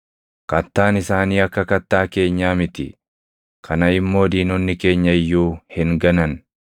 Kattaan isaanii akka kattaa keenyaa miti; kana immoo diinonni keenya iyyuu hin ganan.